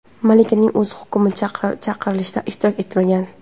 Malikaning o‘zi hukm chiqarilishida ishtirok etmagan.